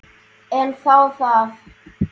En þá það.